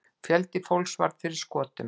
Fjöldi fólks varð fyrir skotum.